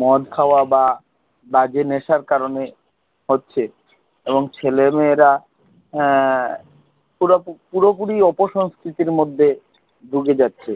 মদ দাওয়া বা বাজে নেশার কারণে হচ্ছে এবং ছেলেমেয়েরা এ পুরো পুরোপুরি অপসংস্কৃতির মধ্যে ঢুকে যাচ্ছে